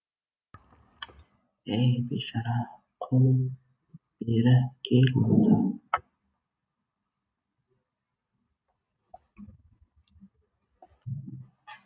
ей бейшара құл бері кел мында